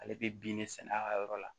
Ale bɛ bin de sɛnɛ a ka yɔrɔ la